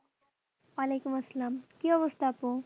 ওলাইকুম আসসালাম, কি অবস্থা আপু?